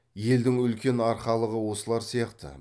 елдің үлкен арқалығы осылар сияқты